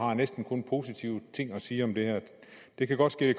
har næsten kun positive ting at sige om det her det kan godt ske det